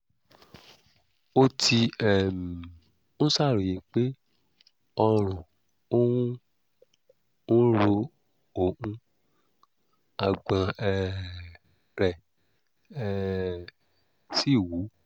ó ti um ń ṣàròyé pé ọrùn òun ń ro òun àgbọ̀n um rẹ̀ um sì wú